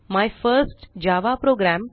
my first Java programme